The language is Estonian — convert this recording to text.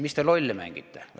Mis te lolli mängite!